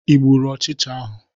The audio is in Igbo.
Ị gbụrụ ochicha ahụ?